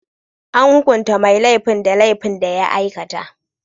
An hukunta mai laifin da laifin da ya aikata.